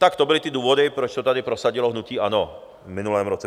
Tak to byly ty důvody, proč to tady prosadilo hnutí ANO v minulém roce.